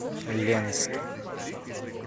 ленске